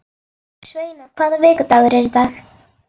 Sveina, hvaða vikudagur er í dag?